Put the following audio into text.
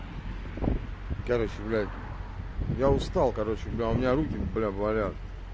короче блядь я устал короче у меня руки бля болят